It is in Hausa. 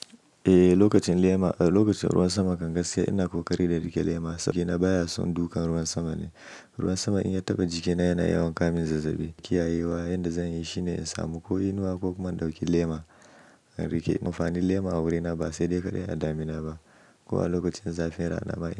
Eh, lokacin lema, lokacin ruwan sama kan gaskiya ina ƙoƙari da riƙe lema saboda jikina baya son dukan ruwan sama ne. Ruwan sama in ya taɓa jikina yana yawan kawo mun zazzaɓi. Kiyayewa yanda zanyi shine in samu ko inuwa ko kuma in ɗauki lema in riƙe. Amfanin lema a wurina ba sai dai kaɗai a damina ba. Kuma lokacin zafin rana ma.